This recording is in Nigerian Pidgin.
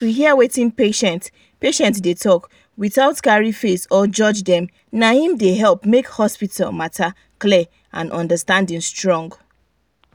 to hear wetin patient patient dey talk without carry face or judge dem na him dey help make hospital matter clear and understanding strong.